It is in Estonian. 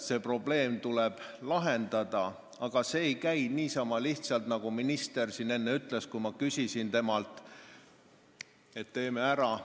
See probleem tuleb lahendada, aga see ei käi niisama lihtsalt, et teeme ära, nagu minister siin enne ütles, kui ma temalt selle kohta küsisin.